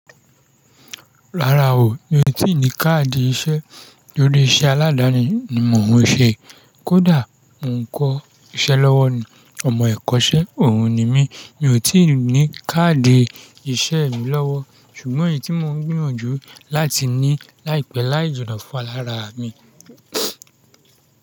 Rárá o, mi ò tí ì ní káàdì iṣẹ́. Lórí iṣẹ́ aládani ni mò ń ṣe. Kódà mò ń kọ́ iṣẹ́ lọ́wọ́ ni. Ọmọ ẹ̀kọ́ṣẹ́ òun ni mí, mi ò tí ì ní káàdì iṣẹ́ mi lọ́wọ́. Ṣùgbọ́n èyí tí mò ń gbìyànjú láti ní láìpẹ́ láìjìnnà fúnra lara mi.